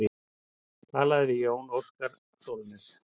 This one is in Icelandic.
Talað við Jón Óskar Sólnes.